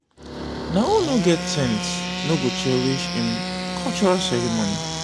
na who no get sense no go cherish im cultural ceremony.